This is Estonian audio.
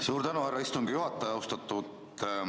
Suur tänu, härra istungi juhataja!